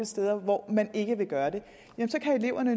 steder hvor man ikke vil gøre det så kan eleverne